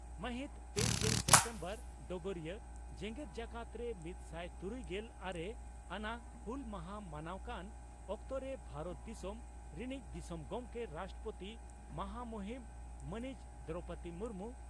ᱢᱟᱹᱦᱤᱛ ᱯᱮᱜᱮᱞ ᱥᱮᱯᱴᱮᱢᱵᱚᱨ (ᱰᱚᱜᱚᱨᱤᱭᱟᱹ) ᱺ ᱡᱮᱜᱮᱛ ᱡᱟᱠᱟᱛ ᱨᱮ ᱢᱤᱛᱥᱟᱭ ᱛᱩᱨᱩᱭᱜᱮᱞ ᱟᱨᱮ ᱟᱱᱟᱜ ᱦᱩᱞ ᱢᱟᱦᱟ ᱢᱟᱱᱟᱣ ᱠᱟᱱ ᱚᱠᱛᱚᱨᱮ ᱵᱷᱟᱨᱚᱛ ᱫᱤᱥᱚᱢ ᱨᱤᱱᱤᱡ ᱫᱤᱥᱚᱢ ᱜᱚᱢᱠᱮ (ᱨᱟᱥᱴᱨᱚᱯᱳᱛᱤ) ᱢᱚᱦᱚᱢᱩᱦᱤᱱ ᱢᱟᱹᱱᱤᱡ ᱫᱨᱚᱣᱯᱚᱫᱤ ᱢᱩᱨᱢᱩ